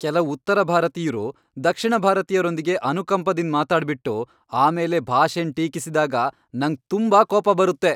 ಕೆಲವ್ ಉತ್ತರ ಭಾರತೀಯ್ರು ದಕ್ಷಿಣ ಭಾರತೀಯರೊಂದಿಗೆ ಅನುಕಂಪದಿಂದ್ ಮಾತಾಡ್ ಬಿಟ್ಟು ಆಮೇಲೆ ಭಾಷೆನ್ ಟೀಕಿಸಿದಾಗ ನಂಗ್ ತುಂಬಾ ಕೋಪ ಬರುತ್ತೆ.